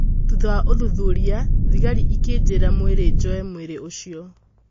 Thutha wa ũthuthuria, thigari ikĩnjĩra mwĩrĩ njoe mwĩri ũcio.